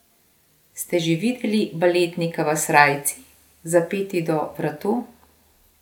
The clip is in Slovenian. Ste že videli baletnika v srajci, zapeti do vratu?